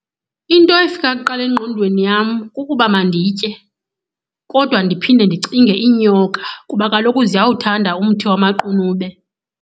Into efika kuqala engqondweni yam kukuba manditye, kodwa ndiphinde ndicinge iinyoka kuba kaloku ziyawuthanda umthi wamaqunube.